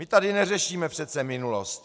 My tady neřešíme přece minulost.